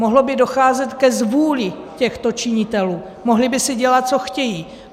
Mohlo by docházet ke zvůli těchto činitelů, mohli by si dělat, co chtějí.